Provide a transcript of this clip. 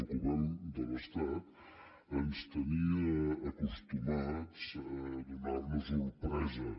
el govern de l’estat ens tenia acostumats a donar nos sorpreses